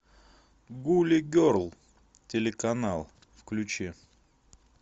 гули герл телеканал включи